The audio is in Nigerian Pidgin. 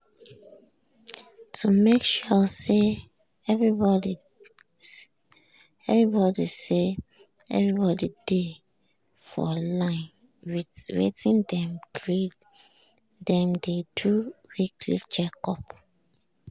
to make sure say everybody say everybody dey for line with wetin dem gree dem dey do weekly check-up.